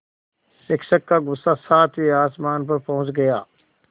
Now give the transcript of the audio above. शिक्षक का गुस्सा सातवें आसमान पर पहुँच गया